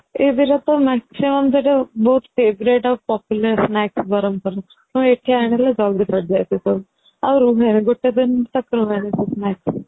ଏଇ ଦିଟା ତ maximum ବହୁତ favourite ଆଉ popular snacks ବ୍ରହ୍ମପୁର ରେ ହଁ ଏଇଠି ଆଣିଲେ ଜଲ୍ଦି ସରିଯାଏ ସେ ସବୁ ଆଉ ରୁହେନି ଗୋଟେ ଦିନ ରୁ ରୁହେନି ସେ snacks ଗୁଡା